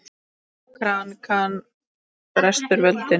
Krankan brestur völdin.